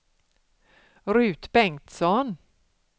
Ruth Bengtsson